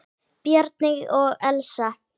Bjarni og Elsa.